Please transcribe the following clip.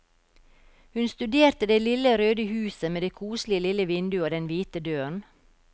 Hun studerte det lille røde huset med det koselige lille vinduet og den hvite døren.